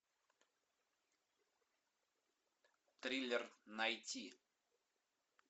триллер найти